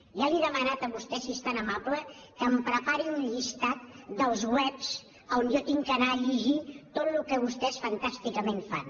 ja li he demanat a vostè si és tan amable que em prepari un llistat dels webs on jo haig d’anar a llegir tot el que vostès fantàsticament fan